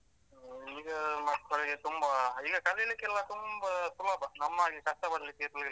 ಹ್ಮಈಗ ಮಕ್ಕಳಿಗೆ ತುಂಬ ಈಗ ಕಲಿಲಿಕ್ಕೆಲ್ಲ ತುಂಬಾ ಸುಲಭ ನಮ್ಮ ಹಾಗೆ ಕಷ್ಟ ಪಡ್ಲಿಕ್ಕೆ ಇರ್ಲಿಲ್ಲ.